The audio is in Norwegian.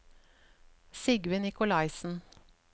Sigve Nicolaisen